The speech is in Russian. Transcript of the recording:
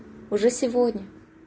уже сегодня